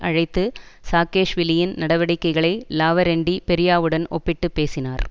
அழைத்து சாகேஷ்விலியின் நடவடிக்கைகளை லாவரென்டி பெரியாவுடன் ஒப்பிட்டு பேசினார்